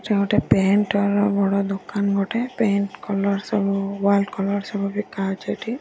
ଏଟା ଗୋଟେ ପେଣ୍ଟ୍ ର ବଡ଼ ଦୋକାନ ଗୋଟେ ପେଣ୍ଟ୍ କଲର୍ ସବୁ ୱାଲ୍ କଲର୍ ସବୁ ବିକା ହୋଉଚି ଏଠି।